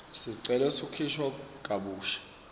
sicelo sekukhishwa kabusha